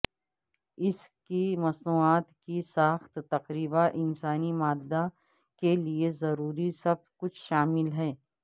اس کی مصنوعات کی ساخت تقریبا انسانی مادہ کے لئے ضروری سب کچھ شامل ہے